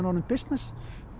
orðið bisness